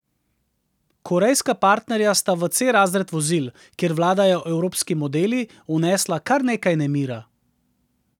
Korejska partnerja sta v C razred vozil, kjer vladajo evropski modeli, vnesla kar nekaj nemira.